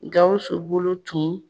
Gawusu bolo tun